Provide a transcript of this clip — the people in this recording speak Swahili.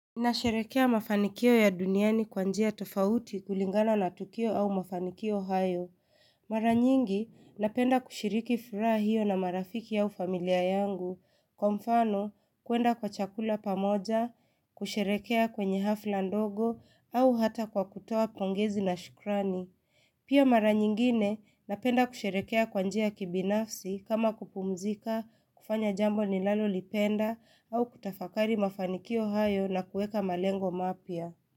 Nasherekea mafanikio ya duniani kwa njia tofauti kulingana na Tukio au mafanikio hayo. Mara nyingi, napenda kushiriki furaha hiyo na marafiki au familia yangu. Kwa mfano, kuenda kwa chakula pamoja, kusherekea kwenye hafla ndogo, au hata kwa kutoa pongezi la shukrani. Pia mara nyingine napenda kusherekea kwa njia ya kibinafsi kama kupumzika, kufanya jambo ni lalo lipenda au kutafakari mafanikio hayo na kuweka malengo mapya.